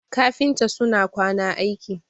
kafinta suna kwana aiki